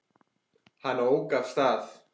Hann ók af stað.